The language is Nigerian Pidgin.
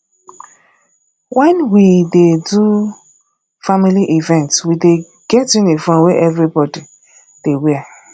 wen we dey do family event we dey get uniform wey everybodi dey wear